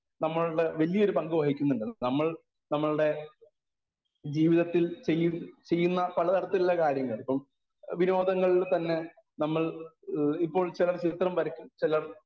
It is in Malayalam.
സ്പീക്കർ 1 നമ്മളുടെ വലിയൊരു പങ്കു വഹിക്കുന്നുണ്ട്. നമ്മൾ നമ്മുടെ ജീവിതത്തിൽ ചെയ്യൂ ചെയുന്ന പലതരത്തിലുള്ള കാര്യങ്ങൾ ഇപ്പം വിനോദങ്ങളിൽ തന്നെ നമ്മൾ ഏഹ് ഇപ്പോൾ ചിലർ ചിത്രം വരക്കും ചിലർ